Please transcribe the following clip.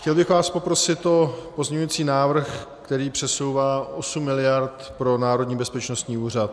Chtěl bych vás poprosit o pozměňující návrh, který přesouvá 8 mld. pro Národní bezpečnostní úřad.